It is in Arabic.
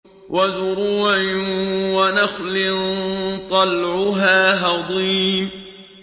وَزُرُوعٍ وَنَخْلٍ طَلْعُهَا هَضِيمٌ